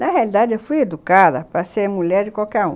Na realidade, eu fui educada para ser mulher de qualquer um.